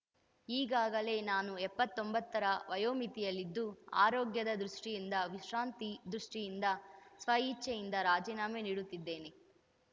ಈಗಾಗಲೇ ನಾನು ಎಪ್ಪತ್ತೊಂಬತ್ತರ ವಯೋಮಿತಿಯಲ್ಲಿದ್ದು ಆರೋಗ್ಯದ ದೃಷ್ಟಿಯಿಂದ ವಿಶ್ರಾಂತಿ ದೃಷ್ಟಿಯಿಂದ ಸ್ವ ಇಚ್ಛೆಯಿಂದ ರಾಜಿನಾಮೆ ನೀಡುತ್ತಿದ್ದೇನೆ